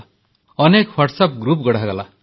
ଅନେକ WhatsApp group ଗଢ଼ାହେଲା